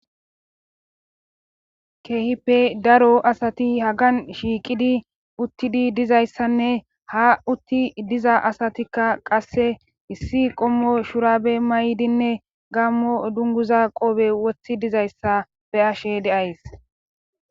keehippe daro asati hagan shiiqidi uttidi dizayssanne ha utti diza asatikka qasse issi qommo shurabe may7dinne gammo dunguza qoobe wothi dizayssa be ashe deays